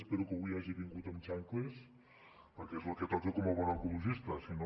espero que avui hagi vingut amb xancletes perquè és el que toca com a bon ecologista si no